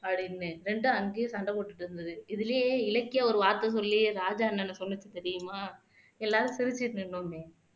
அப்படின்னு ரெண்டும் அங்கயே சண்டை போட்டுட்டிருந்து இதிலேயே இலக்கியா ஒரு வார்த்தை சொல்லி ராஜா அண்ணனை சொல்லுச்சு தெரியுமா எல்லாரும் சிரிச்சுட்டு நின்னோமே